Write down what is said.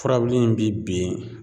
Furabulu in bi bin